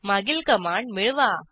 मागील कमांड मिळवा